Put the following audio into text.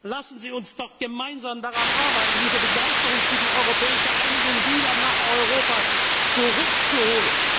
Lassen Sie uns doch gemeinsam daran arbeiten, diese Begeisterung für die europäische Einigung wieder nach Europa zurückzuholen!